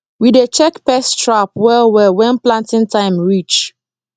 we dey check pest trap well well when planting time reach